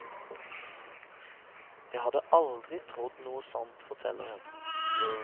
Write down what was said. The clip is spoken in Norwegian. Jeg hadde aldri trodd noe sånt, forteller hun.